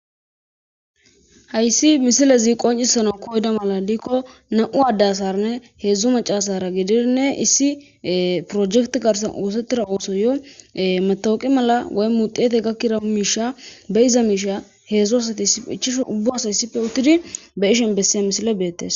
hayssi misilezi qoncisana koyda mala diikko na7u addasarne heedzdzu macasara gidinne issi projekt garsan oosettira ooso yo matawoqi mala woy muxiete gakkira miisha be iza miisha heedzdzu asati ichishu ubbu asa issife uttidi be ishen besse misile beettes